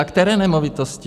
A které nemovitosti?